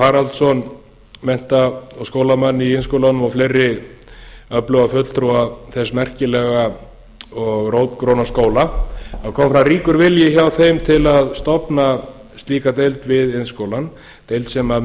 haraldsson mennta og skólann í iðnskólanum og fleiri öfluga fulltrúa þess merkilega og rótgróna skóla kom fram ríkur vilji hjá þeim til að stofna slíka deild við iðnskólann deild sem